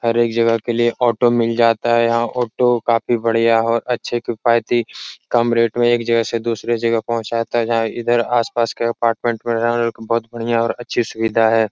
हर एक जगह के लिये ऑटो मिल जाता है। यहाँ ऑटो काफी बड़िया और अच्छे किफायती कम रेट में एक जगह से दुसरे जगह पोहचाता है जहां इधर आस-पास के कपार्टमेंट में बोहोत बड़िया और अच्छी सुविधा है।